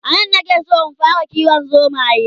anan na ke San in fara kiwon zomaye